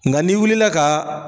Nka n'i wulila kaa.